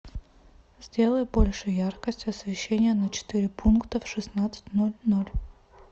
сделай больше яркость освещения на четыре пункта в шестнадцать ноль ноль